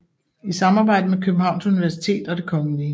I samarbejde med Københavns Universitet og Det Kgl